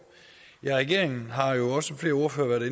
ja regeringen har jo som også flere ordførere